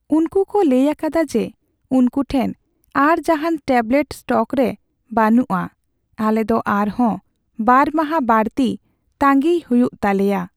ᱩᱱᱠᱩ ᱠᱚ ᱞᱟᱹᱭ ᱟᱠᱟᱫᱟ ᱡᱮ ᱩᱱᱠᱩ ᱴᱷᱮᱱ ᱟᱨ ᱡᱟᱦᱟᱱ ᱴᱮᱵᱞᱮᱴ ᱥᱴᱚᱠ ᱨᱮ ᱵᱟᱹᱱᱩᱜᱼᱟ ᱾ ᱟᱞᱮ ᱫᱚ ᱟᱨᱦᱚᱸ ᱒ ᱢᱟᱦᱟ ᱵᱟᱹᱲᱛᱤ ᱛᱟᱺᱜᱤᱭ ᱦᱩᱭᱩᱜ ᱛᱟᱞᱮᱭᱟ ᱾